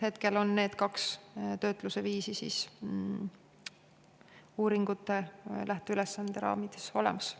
Hetkel on need kaks töötlusviisi uuringute lähteülesandes olemas.